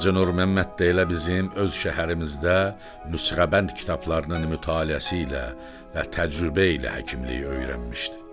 Hacı Nurməmməd də elə bizim öz şəhərimizdə, nüsxəbənd kitablarının mütaliəsi ilə və təcrübə ilə həkimliyi öyrənmişdi.